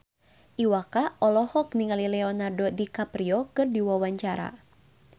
Iwa K olohok ningali Leonardo DiCaprio keur diwawancara